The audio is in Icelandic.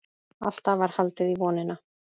Alltaf var haldið í vonina.